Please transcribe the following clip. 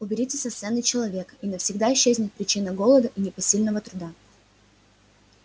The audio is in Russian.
уберите со сцены человека и навсегда исчезнет причина голода и непосильного труда